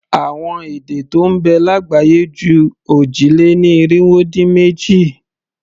Àwọn èdè tó ń bẹ lágbàáyé ju òjì-lé-ní-irinwó-dín-méjì.